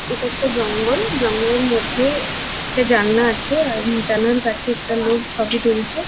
এটা একটা জঙ্গল। জঙ্গলের মধ্যে একটা জালনা আছে। আর জালনার কাছে একটা লোক ছবি তুলছে।